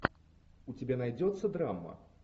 у тебя найдется драма